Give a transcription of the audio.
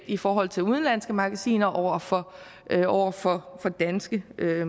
i forhold til udenlandske magasiner over for over for danske